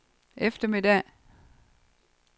eftermiddag